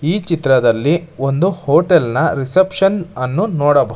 ಈ ಚಿತ್ರದಲ್ಲಿ ಒಂದು ಹೋಟೆಲ್ ನ ರಿಸೆಪ್ಶನ್ ಅನ್ನು ನೋಡಬ--